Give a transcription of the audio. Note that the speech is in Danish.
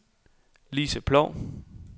Lisa Ploug